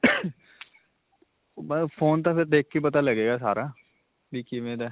phone ਤਾਂ ਫਿਰ ਦੇਖਕੇ ਹੀ ਪਤਾ ਲੱਗੇਗਾ ਸਾਰਾ, ਵੀ ਕਿਵੇਂ ਦਾ ਹੈ.